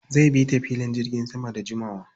Zai bi ta filin jirgin sama da jimawa.